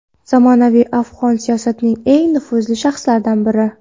zamonaviy afg‘on siyosatining eng nufuzli shaxslaridan biri.